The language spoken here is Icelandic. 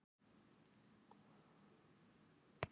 Pabbi hló nú upphátt.